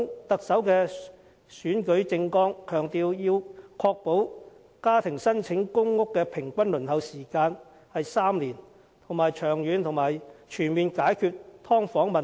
特首在選舉政綱中強調，要確保家庭申請公屋的平均輪候時間是3年，並長遠而全面地解決"劏房"問題。